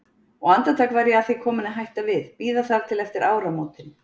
Og andartak var ég að því komin að hætta við, bíða þar til eftir áramótin.